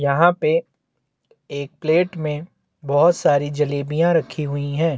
यहाँ पे एक प्लेट में बहोत सारी जलेबिया रखी हुई है।